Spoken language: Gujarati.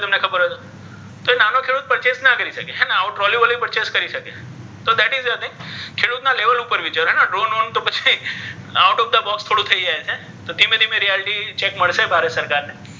તો એ નાનો ખેડૂત purchase ન કરી શકે. આવું ટ્રોલી વાલી purchase કરી શકે. ખેડૂતના લેવલ ઉપર વિચારવું પડે. એને drone one out of the box થોડું થઈ જાય છે તો ધીમે ધીમે રિયાલિટી ચેક મળશે ભારત સરકારને